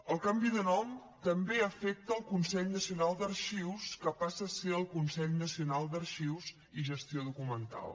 el canvi de nom també afecta el consell nacional d’arxius que passa a ser el consell nacional d’arxius i gestió documental